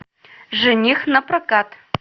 жених напрокат